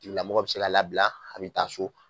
Tigilamɔgɔ bi se ka labila a bi taa so